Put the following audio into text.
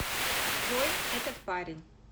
джой этот парень